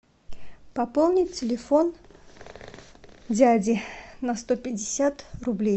пополни телефон дяди на сто пятьдесят рублей